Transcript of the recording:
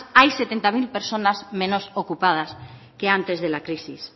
hay setenta mil personas menos ocupadas que antes de la crisis